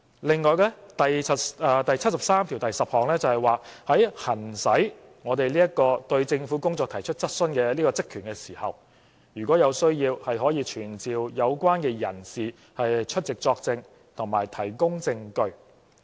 另外，《基本法》第七十三條第十項訂明，在我們行使對政府工作提出質詢的職權時，如有需要，可傳召有關人士出席作證和提供證據。